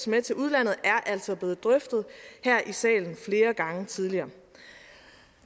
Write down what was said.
med til udlandet er altså blevet drøftet her i salen flere gange tidligere